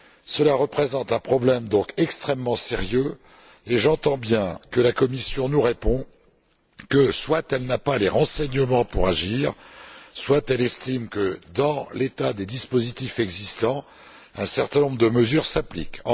Cela représente donc un problème extrêmement sérieux, et j'entends bien que la Commission nous répond que soit elle n'a pas les renseignements pour agir, soit elle estime que dans l'état des dispositifs existants, un certain nombre de mesures s'appliquent.